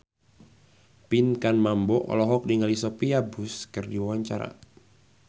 Pinkan Mambo olohok ningali Sophia Bush keur diwawancara